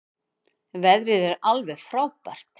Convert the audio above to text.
Veðrið er frábært alveg.